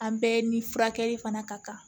An bɛɛ ni furakɛli fana ka kan